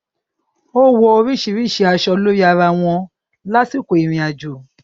ó wọ oríṣiríṣi aṣọ lórí ara wọn lásìkò ìrìnàjò